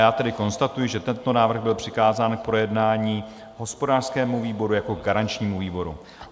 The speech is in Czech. Já tedy konstatuji, že tento návrh byl přikázán k projednání hospodářskému výboru jako garančnímu výboru.